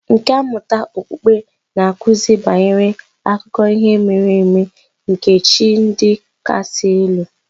Nkà mmụta okpukpe na-akụzi banyere akụkọ ihe mere eme nke chi ndị kasị elu